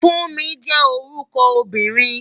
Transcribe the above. Funmi jé órúkò óbìrín